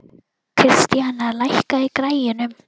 Kristíana, lækkaðu í græjunum.